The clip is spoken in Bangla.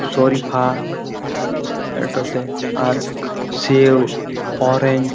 শরিফা-আ এটাতে আর্ক সে ও অরেঞ্জ --